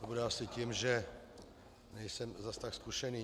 To bude asi tím, že nejsem zas tak zkušený.